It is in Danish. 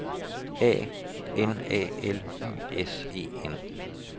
A N A L Y S E N